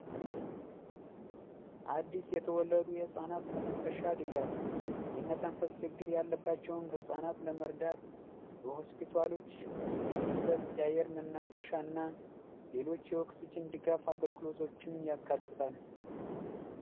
አዲስ የተወለዱ የህፃናት መተንፈሻ ድጋፍ የመተንፈስ ችግር ያለባቸውን ህጻናት ለመርዳት ሆስፒታሎች ውስጥ የሚሰጥ የአየር መናፈሻና ሌሎች የወቅቱ ድጋፍ አገልግሎቶችን ያካትታል